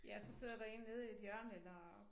Ja og så sidder der én nede i et hjørne eller